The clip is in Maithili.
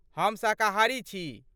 हम शाकाहारी छी।